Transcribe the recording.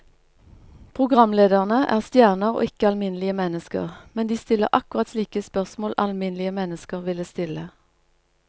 Programlederne er stjerner og ikke alminnelige mennesker, men de stiller akkurat slike spørsmål alminnelige mennesker ville stille.